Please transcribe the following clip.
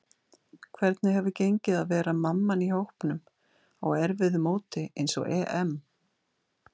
Hvernig hefur gengið að vera mamman í hópnum á erfiðu móti eins og EM?